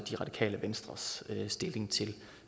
radikale venstres stilling til